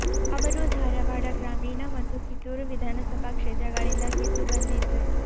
ಅವರು ಧಾರವಾಡ ಗ್ರಾಮೀಣ ಮತ್ತು ಕಿತ್ತೂರು ವಿಧಾನಸಭಾ ಕ್ಷೇತ್ರಗಳಿಂದ ಗೆದ್ದು ಬಂದಿದ್ದರು